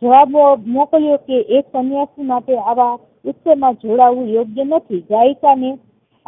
જવાબ એવો મોકલ્યોકે એક સન્યાસી માટે આવા ઉચ્ચ માં જોડાવું યોગ્ય નથી ને